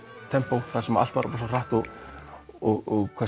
tempó þar sem allt var hratt og hvað